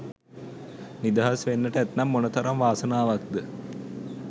නිදහස් වෙන්නට ඇත්නම් මොනතරම් වාසනාවක්ද.